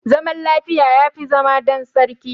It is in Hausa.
Zaman lafiya yafi zama dan sarki